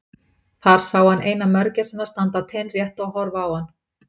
Þar sá hann eina mörgæsina standa teinrétta og horfa á hann.